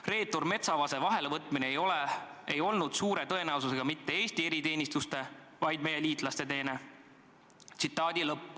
Reetur Metsavase vahelevõtmine ei olnud suure tõenäosusega mitte Eesti eriteenistuste, vaid meie liitlaste teene.